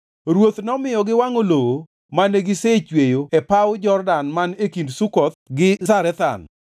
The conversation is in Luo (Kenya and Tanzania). Ruoth nomiyo giwangʼo lowo mane gisechweyo e paw Jordan man e kind Sukoth gi Zarethan.